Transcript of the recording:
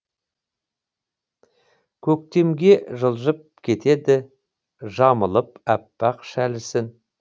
көктемге жылжып кетеді жамылып аппақ шәлісін